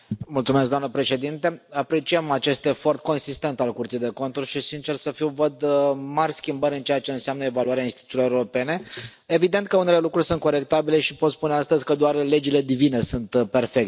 Doamnă președintă, apreciem acest efort consistent al Curții de Conturi și, sincer să fiu, văd mari schimbări în ceea ce înseamnă evaluarea instituțiilor europene. Evident că unele lucruri sunt corectabile și pot spune astăzi că doar legile divine sunt perfecte.